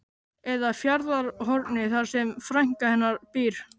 Eða Fjarðarhorni þar sem frænka hennar býr.